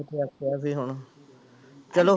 ਵੀ ਹੁਣ ਚਲੋ